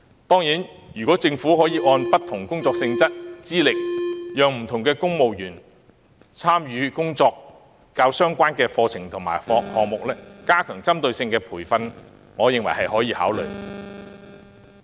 當然，如果政府可按不同工作性質和資歷，讓公務員參與跟工作較相關的課程和項目，加強為他們提供具針對性的培訓，我認為是可予考慮的。